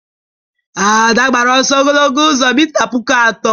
Ada gbara ọsọ ogologo ụzọ mita puku atọ